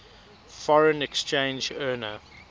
foreign exchange earner